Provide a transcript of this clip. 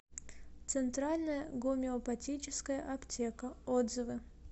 центральная гомеопатическая аптека отзывы